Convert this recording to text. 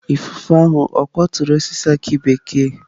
Ifufe ahụ ọ̀ kwaturu osisi aki bekee?